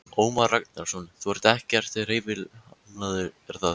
Ómar Ragnarsson: Þú ert ekkert hreyfihamlaður, er það?